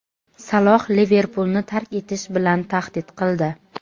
Saloh "Liverpul"ni tark etish bilan tahdid qildi.